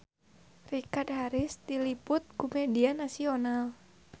Richard Harris diliput ku media nasional